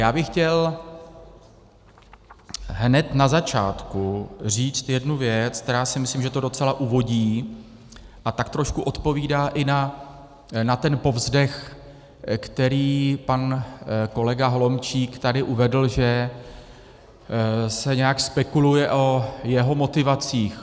Já bych chtěl hned na začátku říct jednu věc, která si myslím, že to docela uvodí a tak trošku odpovídá i na ten povzdech, který pan kolega Holomčík tady uvedl, že se nějak spekuluje o jeho motivacích.